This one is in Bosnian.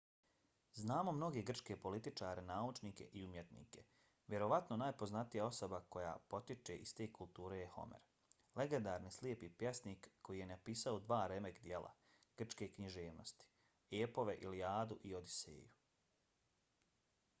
znamo mnoge grčke političare naučnike i umjetnike. vjerovatno najpoznatija osoba koja potiče iz te kulture je homer legendarni slijepi pjesnik koji je napisao dva remek-djela grčke književnosti – epove ilijadu i odiseju